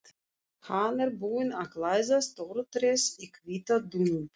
Hann er búinn að klæða stóra tréð í hvíta dúnúlpu.